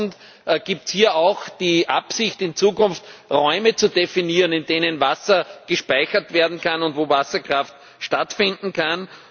2000? Gibt es hier auch die Absicht, in Zukunft Räume zu definieren, in denen Wasser gespeichert werden kann und wo Wasserkraft stattfinden kann?